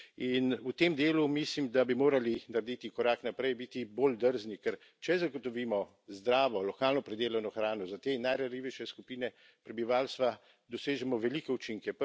In v tem delu mislim, da bi morali narediti korak naprej, biti bolj drzni, ker če zagotovimo zdravo, lokalno pridelano hrano za te najranljivejše skupine prebivalstva, dosežemo velike učinke.